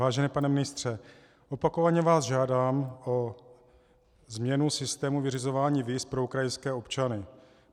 Vážený pane ministře, opakovaně vás žádám o změnu systému vyřizování víz pro ukrajinské občany.